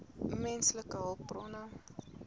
menslike hulpbronne